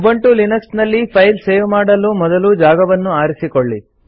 Ubuntu Linux ನಲ್ಲಿ file save ಮಾಡಲು ಮೊದಲು ಜಾಗವನ್ನು ಆರಿಸಿಕೊಳ್ಳಿ